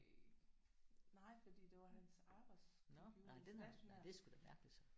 Øh nej fordi det var hans arbejdscomputer en stationær